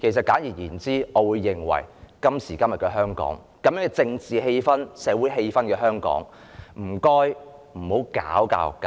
簡而言之，在今時今日香港的政治及社會氣氛下，請不要搞教育界。